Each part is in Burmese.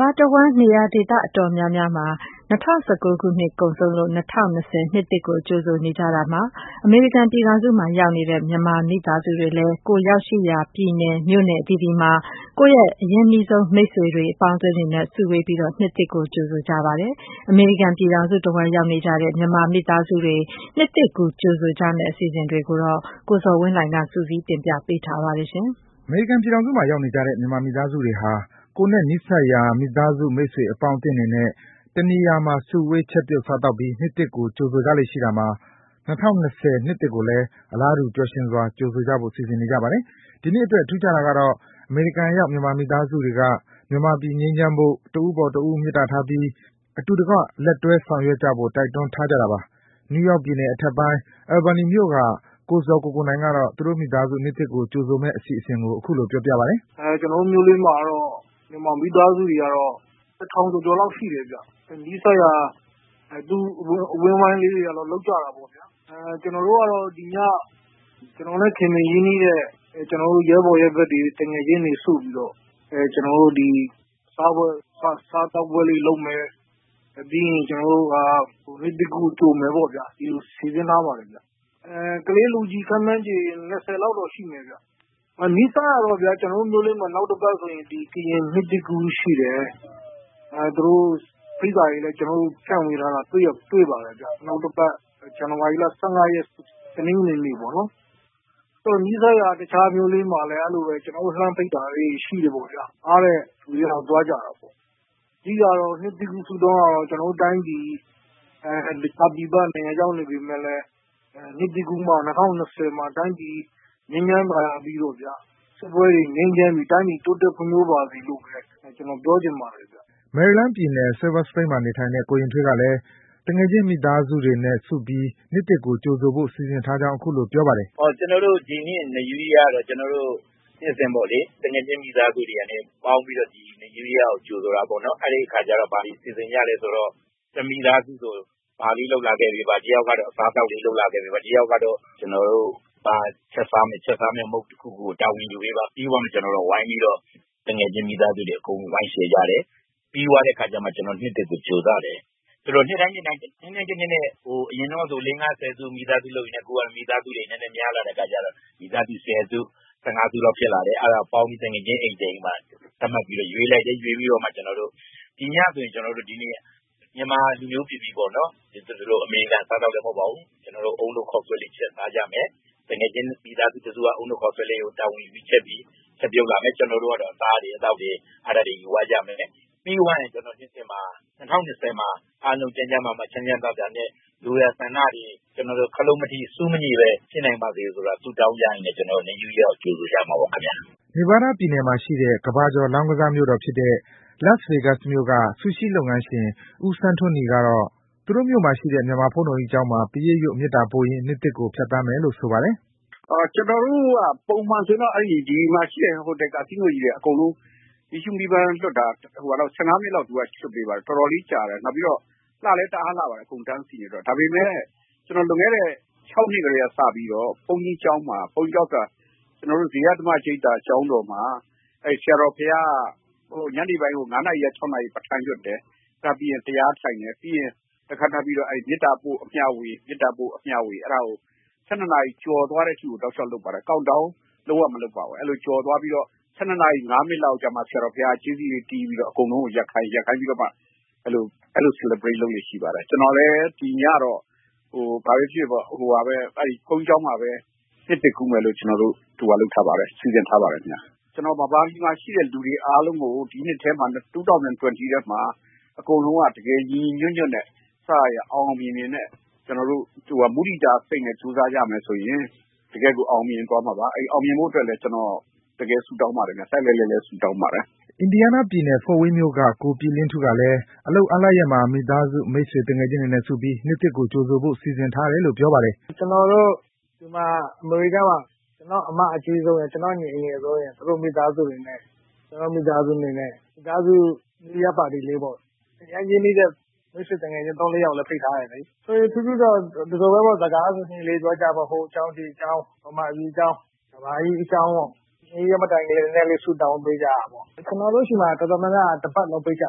ဘာတဝှမ်း နေရာဒေသအတော်များများ ၂၀၁၉ ခုနှစ်ကုန်ဆုံးလို့ ၂၀၂၀ နှစ်သစ်ကို ကြိုဆိုနေကြတာမှာ အမေရိကန်ပြည် ထောင်စုမှာ ရောက်နေကြတဲ့ မြန်မာမိသားစုတွေလည်း ကိုယ်ရောက်ရှိရာ ပြည်နယ်၊ မြို့နယ် အသီးသီးမှာ ကိုယ့်မိတ်ဆွေ၊ အပေါင်းအသင်းတွေနဲ့ စုဝေးပြီး နှစ်သစ်ကို ကြိုဆိုကြပါတယ်။ အမေရိကန်ပြည်ထောင်စုတဝှမ်း ရောက်နေကြတဲ့ မြန်မာမိသားစုတွေ နှစ်သစ်ကူး ကြိုဆိုကြမယ့် အစီအစဉ်တွေကိုတော့ ကိုဇော်ဝင်းလှိုင်က စုစည်း တင်ပြပေးထားပါတယ်။ အမေရိကန်ပြည်ထောင်စုမှာ ရောက်နေကြတဲ့ မြန်မာမိသားစုတွေဟာ ကိုယ်နဲ့ နီးစပ်ရာ မိသားစု၊ မိတ်ဆွေအပေါင်းအသင်းတွေနဲ့ တနေရာ ရာမှာ စုဝေး ချက်ပြုတ် စားသောက်ပြီး နှစ်သစ်ကို ကြိုဆိုကြလေ့ရှိတာမှာ ၂၀၂၀ နှစ်သစ်ကိုလည်း အလားတူ ပျော်ရွှင်စာ ကြိုဆိုကြဖို့ စီစဉ်နေကြပါတယ်။ ဒီနှစ်အတွက် ထူးခြားတာကတော့ အမေရိကန်ရောက် မြန်မာ မိသားစုတွေက မြန်မာပြည် ငြိမ်းချမ်းဖို့၊ တဦးအပေါ်တဦး မေတ္တာထားပြီး အတူတကွ လက်တွဲ ဆောင်ရွက်ကြဖို့ တိုက်တွန်းထားကြတာပါ။ နယူးယောက်ပြည်နယ်အထက်ပိုင်း၊ Albany မြို့က ကိုဇော်ကိုကိုနိုင်ကတော့ သူတို့မိသားစု နှစ်သစ်ကို ကြိုဆိုမယ့်အစီအစဉ်ကို အခုလို ပြောပြပါတယ်။ “ကျနော်တို့မြို့လေးမှာတော့ မိသားစုတွေက ၁,၀၀၀ ကျော်ကျော်လောက်ရှိတယ်။ နီးစပ်ရာအသိုင်းအဝိုင်းလေးတွေကတော့ လုပ်ကြတာပေါ့ဗျာ။ ကျနော်တို့ကတော့ ကျနော်နဲ့ခင်မင်ရင်းနှီးတဲ့ ရဲဘော်ရဲဘက်တွေ၊ သူငယ်ချင်းတွေစုပြီးတော့ စားသောက်ပွဲလေး လုပ်မယ်၊ ပြီးရင် နှစ်သစ်ကူးကြိုမယ် ပေါ့ဗျာ၊ ဒီလို စီစဉ်ထားပါတယ်။ ကလေးလူကြီး ခန့်မှန်းခြေ ၂၀ လောက်တော့ရှိမယ်ဗျ။ နီးစပ်ရာ ကတော့ဗျာ-ကျနော်တို့မြို့လေးမှာ နောက်တပတ်ကျရင် ကရင်နှစ်သစ်ကူးရှိတယ်။ သူတို့ဖိတ်စာတွေလည်း ကျနော်တို့ကိုဖြန့်ဝေထားတာတွေ့ပါတယ်ဗျ။ နောက်တပတ် ဇန်နဝါရီလ ၁၅ ရက်၊ တနင်္ဂနွေနေ့ပေါ့နော်။ နီးစပ်ရာ တခြားမြို့လေးမှာလည်း အဲဒီလိုပဲ ကျနော်တို့ကို လှမ်းဖိတ်တာလေးတွေ ရှိပါတယ်။ အားတဲ့လူတွေကတော့ သွားကြတာပေါ့။ အဓိက နှစ်သစ်ကူး ဆုတောင်းကတော့ ပြည်ပတိုင်းပြည်မှာ ရောက်နေပေမယ့်လည်း ၂၀၂၀ မှာ ကျနော်တို့တိုင်းပြည်ငြိမ်းချမ်းသာယာပြီးတော့ စစ်ပွဲတွေငြိမ်းချမ်းပြီး တိုင်းပြည် ဖွံ့ဖြိုးတိုးတက်ပါစေလို့ပဲ ကျနော် ပြောချင်ပါတယ်။” မယ်ရီလန်းပြည်နယ်၊ Silver Spring မှာ နေထိုင်တဲ့ ကိုယဉ်ထွေးကလည်း သူငယ်ချင်း မိသားစုတွေနဲ့ စုပြီး နှစ်သစ်ကို ကြိုဆိုဖို့ စီစဉ်ထားကြောင်း အခုလို ပြောပြပါတယ်။ “ဒီနှစ် New Year ကတော့ ကျနော်တို့ နှစ်စဉ်ပေါ့လေ၊ သူငယ်ချင်းမိသားစုတွေကနေပေါင်းပြီးတော့ New Year ကို ကြိုဆိုတာပေါ့။ ဘာတွေ ပြင်ဆင်ကြ သလဲဆိုတော့ တမိသားစုစီကို ဘာလေးလုပ်လာခဲ့ပေးပါ၊ တယောက်ကတော့ အစားအသောက်လေးလုပ်လာခဲ့ပေးပါ၊ နောက်တယောက်ကတော့ ချက် စားမယ့်မုံ့တခုခုကို တာဝန်ယူပေးပါ စသဖြင့်၊ ပြီးတော့မှ ကျနော်တို့က ဝိုင်းပြီးတော့ သူငယ်ချင်းမိသားစုတွေအကုန် ဝိုင်း Share ကြတယ်။ ပြီးသွားတဲ့ အခါကျလို့ရှိတော့မှ ကျနော်တို့နှစ်သစ်ကိုကြိုကြတယ်။ ဆိုတော့ နှစ်တိုင်း၊ နှစ်တိုင်း တနှစ်နဲ့တနှစ်နဲ့ အရင်တုန်းကဆို မိသားစုတွေ လေး-ငါး-ဆယ်စု လုပ်ရင်းနဲ့ မိသားစုတွေ နည်းနည်းများလာတဲ့အခါကျတော့ မိသားစု ဆယ်စု၊ ဆယ့်ငါးစုလောက်ဖြစ်လာတယ်။ အဲဒါကို ပေါင်းပြီး သူငယ်ချင်းအိမ်တအိမ်မှာ သတ်မှတ်ပြီးတော့ ရွေးလိုက်တယ်။ ရွေးပြီးတော့မှ…ဒီညဆိုရင် ကျနော်တို့ မြန်မာလူမျိုးပီပီပေါ့နော်-အမေရိကန်အစားအသောက်လည်းမဟုတ်ပါဘူး။ သူငယ်ချင်း မိသားစုတစုက အုန်းနို့ခေါက်ဆွဲလေးကို တာဝန်ယူပြီးချက်လာမယ်။ ကျနော်တို့ကတော့ အစားတွေ၊ အသောက်တွေယူသွားကြမယ်။ ပြီးသွားရင် ၂၀၂၀ မှာ အားလုံး ကျန်းကျန်းမာမာချမ်းချမ်းသာသာနဲ့ လိုရာဆန္ဒတွေပြည့်ဖို့၊ ခလုတ်မထိ၊ ဆူးမငြိဘဲဖြစ်နိုင်ကြပါစေဆိုတာဆုတောင်းကြရင်းနဲ့ ကျနော်တို့ရဲ့ New Year ကိုကြိုဆိုကြမှာပေါ့ခင်ဗျ။” Nevada ပြည်နယ်မှာရှိတဲ့ ကမ္ဘာကျော် လောင်းကစားမြို့တော် Las Vegas က ဆူရှီးလုပ်ငန်းရှင် ဦးဆန်းထွန်းနီကတော့ သူတို့မြို့မှာရှိတဲ့ မြန်မာဘုန်းတော်ကြီးကျောင်းမှာ ပရိတ်ရွတ်၊ မေတ္တပို့ရင်း နှစ်သစ်ကို ဖြတ်သန်းမယ်လို့ ဆိုပါတယ်။ “ကျနော်တို့က ပုံမှန်ဆိုရင်တော့ ဒီမှာရှိတဲ့ ဟိုတယ်၊ ကက်ဆီနိုကြီးတွေက အကုန်လုံး ၁၅ မိနစ်လောက် မီးရှူးမီးပန်းလွှတ်ပေးပါတယ်။ တော်တော်လေး ကြာတယ်။ နောက်ပြီးတော့ လှလည်း တအားလှပါတယ်။ အကုန်တန်းစီနေတာဆိုတော့။ ဒါပေမယ့် လွန်ခဲ့တဲ့ ၆ နှစ်ကတည်းကစပြီးတော့ ဘုန်းကြီး ကျောင်းမှာ ကျနော်တို့ရဲ့ ဇေယျဓမ္မ ရိပ်သာကျောင်းတော်မှာ ဆရာတော်ဘုရားက ညနေပိုင်းကို ၅ နာရီကနေ ၆ နာရီအထိ ပဌာန်းရွတ်တယ်။ အဲဒါပြီးရင် တရားထိုင်တယ်။ ပြီးရင် မေတ္တာပို့၊ အမျှဝေ အဲဒါကို ၁၂ နာရီကျော်သွားတဲ့အထိကို တောက်လျှောက်လုပ်ပါတယ်။ count-down လုံးဝမလုပ်ပါဘူး။ ၁၂ နာရီ ၅ မိနစ်လောက်ကျတော့မှ ဆရာတော်ဘုရားက ကြေးစည်တွေတီးပြီးတော့ အကုန်လုံးကိုရပ်ခိုင်းတယ်။ ရပ်ခိုင်းပြီးတော့မှ အဲဒီလို celebrate လုပ်လေ့ရှိပါတယ်။ ကျနော်လည်း ဒီညတော့ ဘုန်းကြီးကျောင်းမှာပဲ နှစ်သစ်ကူးမယ်လို့ စီစဉ်ထားပါတယ်။ ကျနော် ဗမာပြည်မှာရှိတဲ့လူတွေ အားလုံးကို ၂၀၂၀ ထဲမှာ အကုန်လုံးက တကယ်ညီညီညွတ်ညွတ်နဲ့ အောင်အောင်မြင်မြင်နဲ့ မုဒိတာစိတ်နဲ့ကြိုးစားကြမယ်ဆိုရင် တကယ့်ကို အောင်မြင်သွားမှာပါ။ အောင်မြင်ဖို့အတွက်လည်း ကျနော်တကယ်ဆုတောင်းပါတယ်ဗျ။ လှိုက်လှိုက်လှဲလှဲဆုတောင်းပါတယ်။” Indiana ပြည်နယ်၊ Fort Wayne မြို့က ကိုပြည်လင်းထူးကလည်း အလုပ်အားလပ်ရက်မှာ မိသားစု၊ မိတ်ဆွေ သူငယ်ချင်းတွေနဲ့စုပြီး နှစ်သစ်ကို ကြိုဆိုဖို့ စီစဉ်ထားတယ်လို့ ပြောပါတယ်။ “ကျနော်တို့ အမေရိကားမှာ ကျနော့်အမအကြီးဆုံးရယ်၊ ကျနော့်ညီအငယ်ဆံုံးရယ်၊ သူတို့မိသားစုတွေနဲ့ ကျနော်တို့မိသားစုတွေနဲ့ မိသားစု New Year Party ပေါ့၊ အရမ်းရင်းနှီးတဲ့ မိတ်ဆွေ သုံး-လေးယောက်လည်း ဖိတ်ထားပါတယ်။ ထွေထွေထူးထူးတော့ - ဒီလိုပဲပေါ့၊ စကားစမြည်လေးပြောကြပေါ့၊ ဟိုအကြောင်း-ဒီအကြောင်း၊ ဗမာပြည်အကြောင်း၊ ကမ္ဘာကြီးအကြောင်းပေါ့။ နောက်ပြီး New Year မတိုင်ခင် နည်းနည်းလေး ဆုတောင်းပေးကြတာပေါ့။ ကျနော်တို့ဆီမှာ အတော်များများက New Year မတိုင်ခင် တပတ်လုံးပိတ်ကြ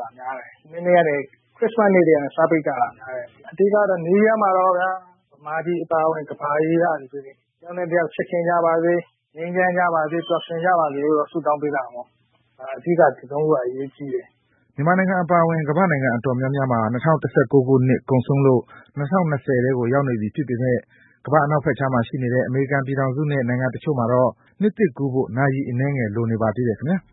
တာဗျ။ ခရစ္စမတ်နေ့ကနေ စပိတ်ကြတာ။ အဓိက-ကတော့ new year မှာတော့ မြန်မာပြည်အပါအဝင် ကမ္ဘာကြီးကလူတွေ တယောက်နဲ့တယောက် ချစ်ခင်ကြပါစေ၊ ငြိမ်းချမ်းကြပါစေ၊ ပျော်ရွှင်ကြပါစေ-လို့တော့ ဆုတောင်း ပေးကြတာပေါ့။ အဓိက ဒီသုံးခုက အရေးကြီးတယ်။” မြန်မာနိုင်ငံအပါအဝင် ကမ္ဘာ့နိုင်ငံအတော်များများမှာ ၂၀၁၉ ခုနှစ် ကုန်ဆုံးလို့ ၂၀၂၀ ထဲကို ရောက်နေပြီဖြစ်ပေမယ့် ကမ္ဘာ့ အနောက်ဘက်ခြမ်းမှာ ရှိနေတဲ့ အမေရိကန်ပြည်ထောင်စုနဲ့ နိုင်ငံတချို့မှာတော့ နှစ်သစ်ကူးဖို့ နာရီအနည်းငယ် လိုနေပါသေးတယ်ခင်ဗျား။